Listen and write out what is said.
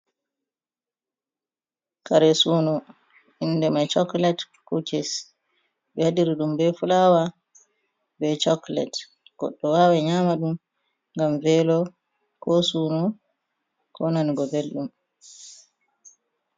Kare sunu inde mai chakulate kukis, ɓe waɗiri ɗum be fulawa be chakulate, godɗo wawan nyama ɗum ngam velo, ko sunu, ko nanugo belɗum.